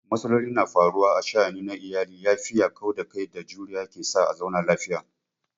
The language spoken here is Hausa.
Matsaloli na faruwa a sha'ani na iyali, yafiya, kauda kai da juriya ke sa a zauna lafiya.